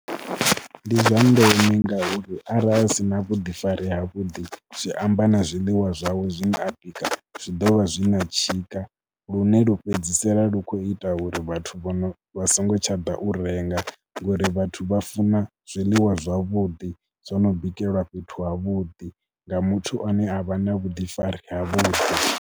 Ndi zwa ndeme ngauri arali hu si na vhuḓifari havhuḓi zwi amba na zwiḽiwa zwawe zwine a bika zwi ḓo vha zwi na tshika lune lu fhedzisela lu khou ita vhathu vhono, vha songo tsha ḓa u renga ngori vhathu vha funa zwiḽiwa zwavhudi, zwo no bikelwa fhethu havhuḓi, nga muthu ane a vha na vhuḓifari havhuḓi.